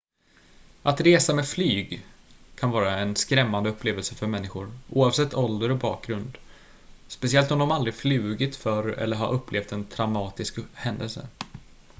att resa med flyg kan vara en skrämmande upplevelse för människor oavsett ålder och bakgrund speciellt om de aldrig flugit förr eller har upplevt en traumatisk händelse